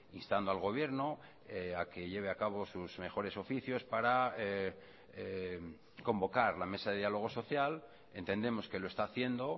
instando al gobierno a que lleve a cabo sus mejores oficios para convocar la mesa de diálogo social entendemos que lo está haciendo